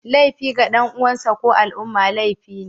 Laifi ga dan uwansa ko al'umma laifi ne